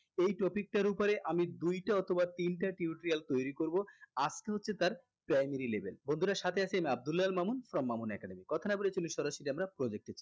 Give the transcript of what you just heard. এই topic টার উপরে আমি দুইটা অথবা তিনটা tutorial তৈরী করবো আজকে হচ্ছে তার primary level বন্ধুরা সাথে আছি আমি আব্দুল্লাহ আল মামুন from মামুন academy কথা না বলে চলুন আমরা সরাসরি project এ